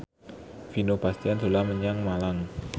Vino Bastian dolan menyang Malang